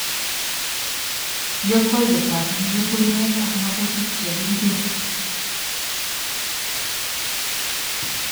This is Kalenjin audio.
Yokwoyet tap nyukunyek ak makutik chw kiriben